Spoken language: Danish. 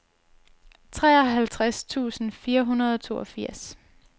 treoghalvtreds tusind fire hundrede og toogfirs